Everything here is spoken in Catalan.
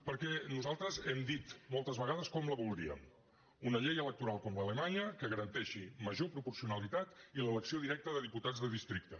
perquè nosaltres hem dit moltes vegades com la voldríem una llei electoral com l’alemanya que ga·ranteixi major proporcionalitat i l’elecció directa de diputats de districte